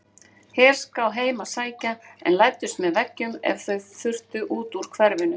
Herská heim að sækja en læddust með veggjum ef þau þurftu út úr hverfinu.